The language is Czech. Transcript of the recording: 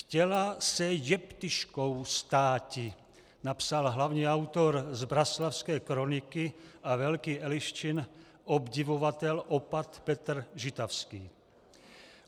"Chtěla se jeptiškou státi," napsal hlavní autor Zbraslavské kroniky a velký Eliščin obdivovatel opat Petr Žitavský.